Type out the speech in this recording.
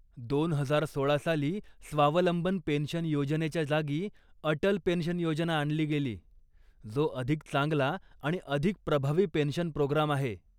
दोन हजार सोळा साली स्वावलंबन पेन्शन योजनेच्या जागी अटल पेन्शन योजना आणली गेली, जो अधिक चांगला आणि अधिक प्रभावी पेन्शन प्रोग्राम आहे.